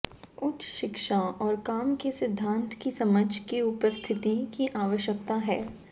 उच्च शिक्षा और काम के सिद्धांत की समझ की उपस्थिति की आवश्यकता है